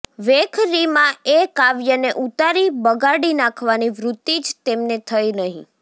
વૈખરીમાં એ કાવ્યને ઉતારી બગાડી નાખવાની વૃત્તિ જ તેમને થઇ નહિ